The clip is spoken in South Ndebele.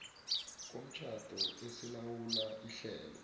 komtjhado esilawula ihlelo